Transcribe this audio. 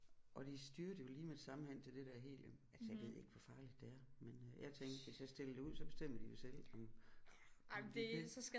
Og de styrtede jo lige med det samme hen til det der helium altså jeg ved ikke hvor farligt det er men øh jeg tænkte hvis jeg stiller det ud så bestemmer de jo selv om om de vil